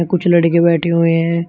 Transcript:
कुछ लड़के बैठे हुए है।